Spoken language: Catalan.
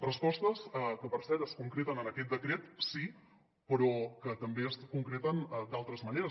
respostes que per cert es concreten en aquest decret sí però que també es concreten d’altres maneres